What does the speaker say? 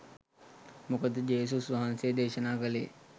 මොකද ජේසුස් වහන්සේ දේශනා කලේ